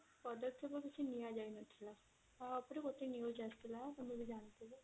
ପଦକ୍ଷେପ କିଛି ନିଆ ଯାଇନଥିଲା ତା ଉପରେ ଗୋଟେ news ଆସିଥିଲା ତମେ ବି ଜାଣିଥିବ